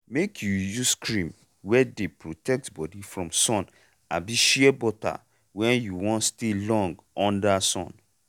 make u use cream wey dey protect body from sun abi shea butter when u wan stay long under sun.